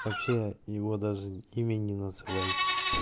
вообще его даже имени не называй